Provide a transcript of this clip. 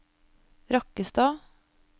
Rakkestad